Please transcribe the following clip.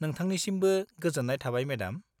-नोंथांनिसिमबो गोजोन्नाय थाबाय मेडाम।